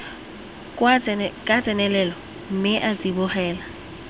ka tsenelelo mme a tsibogela